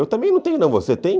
Eu também não tenho não, você tem?